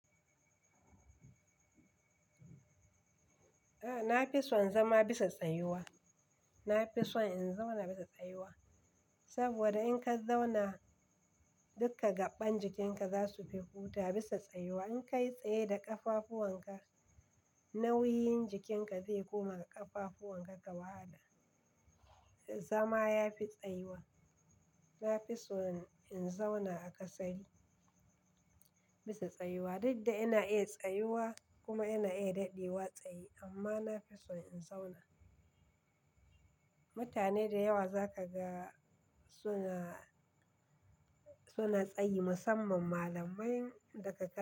A'a, na fi son zama bisa tsayuwa. Na fi son in zauna bisa tsayuwa. Saboda in ka zauna, duka gaɓɓan jikinka za su fi hutawa bisa tsayuwa. In ka yi tsaye da ƙafafuwan ka, nauyin jikinka zai koma ga ƙafafuwan ka wahala. Zama ya fi tsayuwa. Na fi so in zauna a kasari bisa tsayuwa, duk da ina iya tsayuwa kuma ina iya daɗewa tsaye amma na fi son in zauna. Mutane da yawa za ka ga suna, suna tsaye musamman malamai daga ka.